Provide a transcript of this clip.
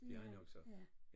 Det er han nok så